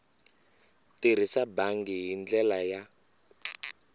tirhisa bangi hi ndlela ya